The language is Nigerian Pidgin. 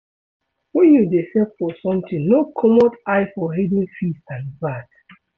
When you dey save for something no comot eye for hidden fees and VAT